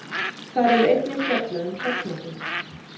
Þar er einnig fjallað um hrafnaþing.